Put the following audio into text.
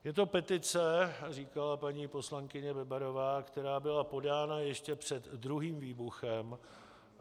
Je to petice, říkala paní poslankyně Bebarová, která byla podána ještě před druhým výbuchem.